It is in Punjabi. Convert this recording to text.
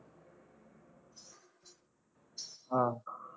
ਹਾਂ